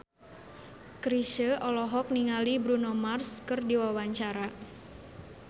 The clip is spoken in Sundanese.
Chrisye olohok ningali Bruno Mars keur diwawancara